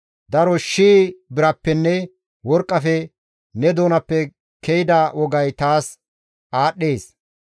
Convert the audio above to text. Daro shii birappenne worqqafe ne doonappe ke7ida wogay taas aadhdhees.